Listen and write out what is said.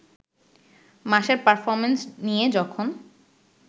মাসের পারফরমেন্স নিয়ে যখন